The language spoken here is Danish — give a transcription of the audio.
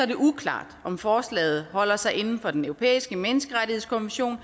det uklart om forslaget holder sig inden for den europæiske menneskerettighedskonvention